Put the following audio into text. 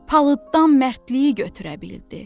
Palıddan mərdliyi götürə bildi.